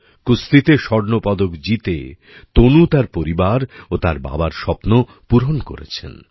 কুস্তিতে স্বর্ণপদক জিতে তনু তার পরিবার ও তার বাবার স্বপ্ন পূরণ করেছেন